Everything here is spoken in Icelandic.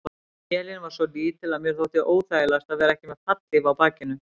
Vélin var svo lítil að mér þótti óþægilegast að vera ekki með fallhlíf á bakinu.